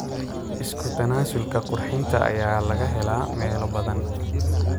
Isku tanaasulka qurxinta ayaa laga helaa meelo badan.